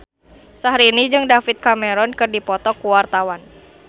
Syahrini jeung David Cameron keur dipoto ku wartawan